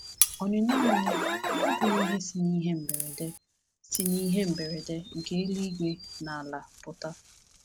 Ọnụnọ anyị abụghị ihe si n’ihe mberede si n’ihe mberede nke eluigwe na ala pụta.